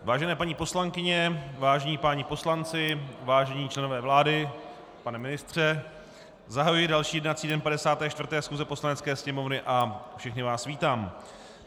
Vážené paní poslankyně, vážení páni poslanci, vážení členové vlády, pane ministře, zahajuji další jednací den 54. schůze Poslanecké sněmovny a všechny vás vítám.